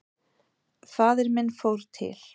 Faðir minn fór til